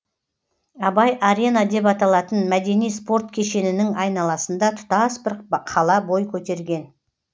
абай арена деп аталатын мәдени спорт кешенінің айналасында тұтас бір қала бой көтерген